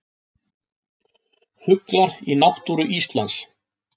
Fuglar í náttúru Íslands.